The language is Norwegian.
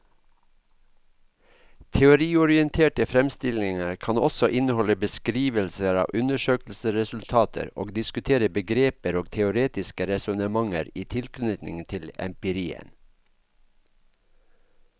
Teoriorienterte fremstillinger kan også inneholde beskrivelser av undersøkelsesresultater og diskutere begreper og teoretiske resonnementer i tilknytning til empirien.